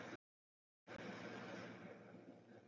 Í henni voru viðurkennd brot fyrirtækisins